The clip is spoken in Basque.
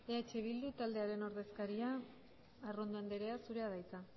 eh bildu taldearen ordezkaria arrondo andrea zurea da hitza